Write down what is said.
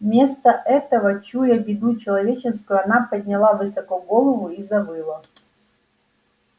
вместо этого чуя беду человеческую она подняла высоко голову и завыла